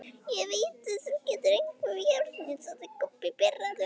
Ég veit þú gerðir eitthvað við járnið, sagði Kobbi pirraður.